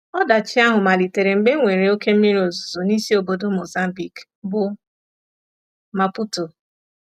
Ọdachi ahụ malitere mgbe e nwere oké mmiri ozuzo n’isi obodo Mozambique, bụ́ Maputo.